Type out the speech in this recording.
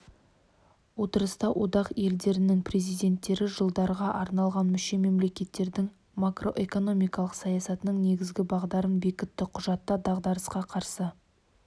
отырыста одақ елдерінің президенттері жылдарға арналған мүше мемлекеттердің макроэкономикалық саясатының негізгі бағдарларын бекітті құжатта дағдарысқа қарсы